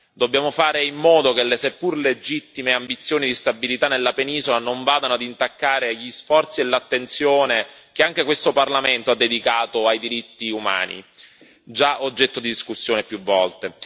Dobbiamo fare in modo che le seppur legittime ambizioni di stabilità nella penisola non vadano a intaccare gli sforzi e l'attenzione che anche questo Parlamento ha dedicato ai diritti umani, già oggetto di discussione più volte.